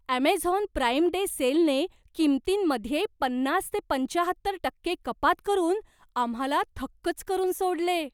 Amazon Prime Day सेलने किमतींमध्ये पन्नास ते पंच्याहत्तर टक्के कपात करून आम्हाला थक्कच करून सोडले.